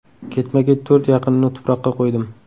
Ketma-ket to‘rt yaqinimni tuproqqa qo‘ydim.